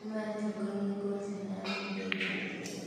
Nĩmatherũkagia ngwacĩ na bebe njũa